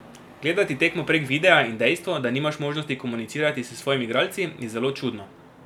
Gledati tekmo prek videa in dejstvo, da nimaš možnosti komunicirati s svojimi igralci, je zelo čudno.